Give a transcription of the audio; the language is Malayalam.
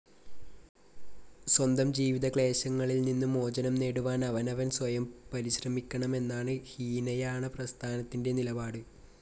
സ്വന്തം ജീവിതക്ലേശങ്ങളിൽ നിന്നു മോചനം നേടുവാൻ അവനവൻ സ്വയം പരിശ്രമിക്കണം എന്നാണ് ഹീനയാണപ്രസ്ഥാനത്തിൻ്റെ നിലപാട്.